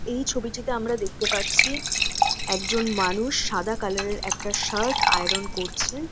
এই ছবিটিতে আমরা দেখতে পাচ্ছি একজন মানুষ সাদা কালার -এর একটা শার্ট আয়রন করছেন।